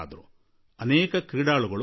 ಇಂತಹ ಇನ್ನೂ ಅನೇಕ ಕ್ರೀಡಾಪಟುಗಳಿದ್ದಾರೆ